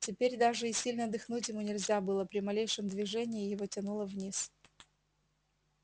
теперь даже и сильно дыхнуть ему нельзя было при малейшем движении его тянуло вниз